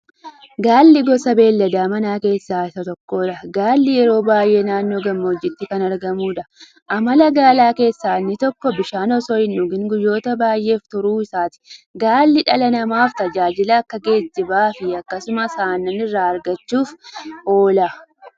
Gaalli gosa beeylada Manaa keessaa Isa tokkoodha. Gaalli yeroo baay'ee naannoo gammoojjitti kan argamuudha. Amala Gaalaa keessaa inni tokko; bishaan osoo hindhugin guyyoota baay'ef turuu isaaati. Gaalli dhala namaaf tajaajila akka; geejjibaafi akkasumas Aannan irraa argachuuf oola.